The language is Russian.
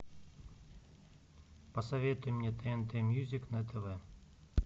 посоветуй мне тнт мьюзик на тв